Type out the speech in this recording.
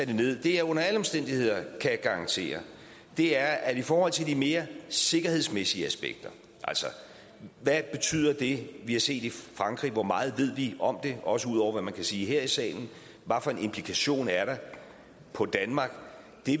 det det jeg under alle omstændigheder kan garantere er at i forhold til de mere sikkerhedsmæssige aspekter hvad betyder det vi har set i frankrig hvor meget ved vi om det også ud over hvad man kan sige her i salen hvad for en implikation er der for danmark